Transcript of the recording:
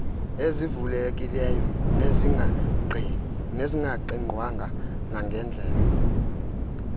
ezivulekileyo nezingaqigqwanga nangendlela